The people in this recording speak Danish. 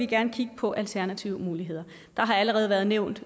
gerne kigge på alternative muligheder der har allerede været nævnt